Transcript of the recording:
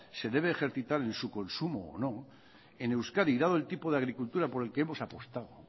se debe ejercitar en su consumo o no en euskadi dado el tipo de agricultura por el que hemos apostado